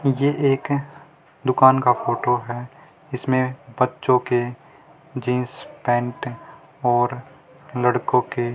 ये एक दुकान का फोटो है इसमें बच्चों के जींस पैंट और लड़कों के--